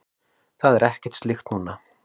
Það er ekkert slíkt núna.